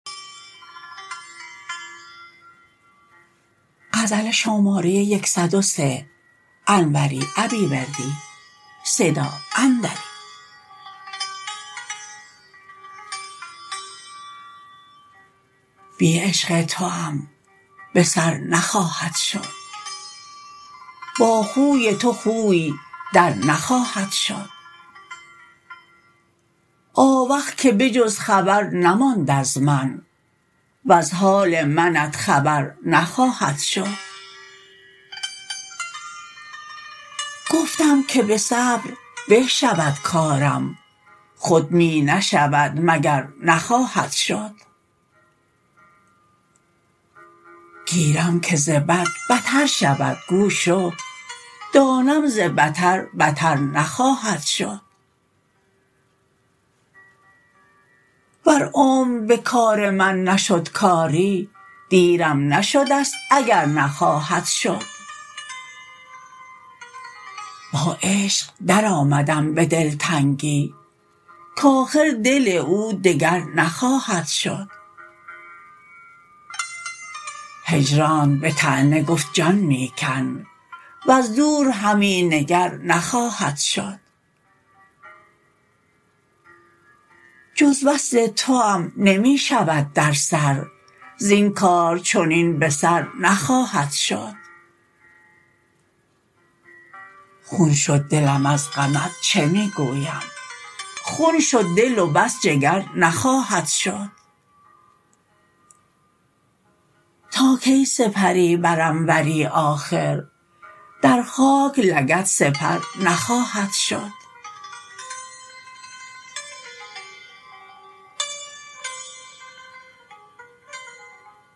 بی عشق توام به سر نخواهد شد با خوی تو خوی در نخواهد شد آوخ که به جز خبر نماند از من وز حال منت خبر نخواهد شد گفتم که به صبر به شود کارم خود می نشود مگر نخواهد شد گیرم که ز بد بتر شود گو شو دانم ز بتر بتر نخواهد شد ور عمر به کام من نشد کاری دیرم نشدست اگر نخواهد شد با عشق درآمدم به دلتنگی کاخر دل او دگر نخواهد شد هجرانت به طعنه گفت جان می کن وز دور همی نگر نخواهد شد جز وصل توام نمی شود در سر زین کار چنین به سر نخواهد شد خون شد دلم از غمت چه می گویم خون شد دل و بس جگر نخواهد شد تا کی سپری بر انوری آخر در خاک لگد سپر نخواهد شد